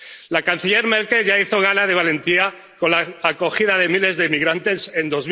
La canciller Merkel ya hizo gala de valentía con la acogida de miles de migrantes en